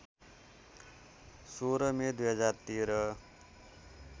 १६ May २०१३